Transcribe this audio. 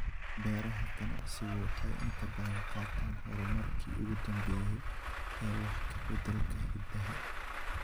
Beeraha ganacsigu waxay inta badan qaataan horumarkii ugu dambeeyay ee wax ka beddelka hiddaha.